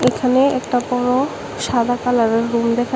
এখানে একটা বড় সাদা কালারের রুম দেখা--